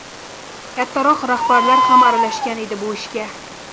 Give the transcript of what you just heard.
Kattaroq rahbarlar ham aralashgan edi bu ishga.